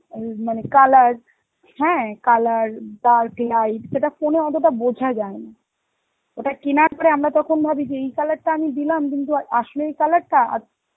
উম মানে colour হ্যাঁ colour dark, light সেটা phone এ অতটা বোঝা যায় না, ওটার কেনার পরে আমরা তখন ভাবি যে এই colour টা আমি দিলাম কিন্তু আ~ আসলো এই colour টা? আর~